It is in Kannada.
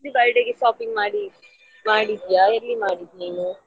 ನಿಂದು birthday ಗೆ shopping ಮಾಡಿ~ ಮಾಡಿದ್ಯಾ ಎಲ್ಲಿ ಮಾಡಿದ್ದು ನೀನು?